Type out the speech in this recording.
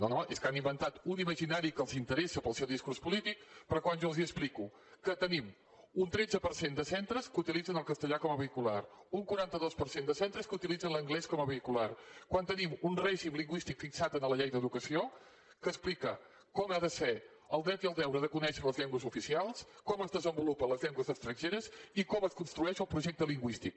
no no és que han inventat un imaginari que els interessa pel seu discurs polític però quan jo els explico que tenim un tretze per cent de centres que utilitzen el castellà com a vehicular un quaranta dos per cent de centres que utilitzen l’anglès com a vehicular quan tenim un règim lingüístic fixat a la llei d’educació que explica com ha de ser el dret i el deure de conèixer les llengües oficials com es desenvolupen les llengües estrangeres i com es construeix el projecte lingüístic